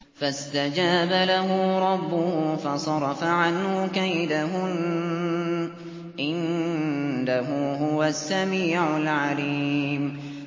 فَاسْتَجَابَ لَهُ رَبُّهُ فَصَرَفَ عَنْهُ كَيْدَهُنَّ ۚ إِنَّهُ هُوَ السَّمِيعُ الْعَلِيمُ